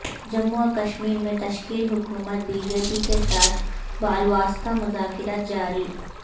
جموں و کشمیر میں تشکیل حکومت بی جے پی کے ساتھ بالواسطہ مذاکرات جاری